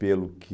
Pelo que...